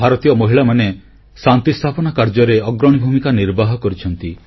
ଭାରତୀୟ ମହିଳାମାନେ ଶାନ୍ତି ସ୍ଥାପନା କାର୍ଯ୍ୟରେ ଅଗ୍ରଣୀ ଭୂମିକା ନିର୍ବାହ କରିଛନ୍ତି